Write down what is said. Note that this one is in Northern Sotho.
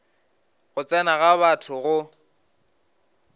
go tsena ga batho go